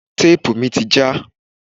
Téèpù mi ti já.